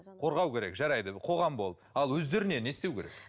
қорғау керек жарайды қоғам болып ал өздеріне не істеу керек